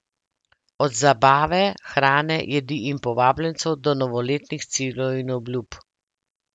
Od zabave, hrane, jedi in povabljencev do novoletnih ciljev in obljub.